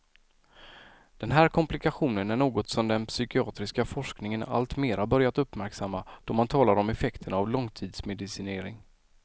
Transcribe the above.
Den här komplikationen är något som den psykiatriska forskningen allt mera börjat uppmärksamma då man talar om effekterna av långtidsmedicinering.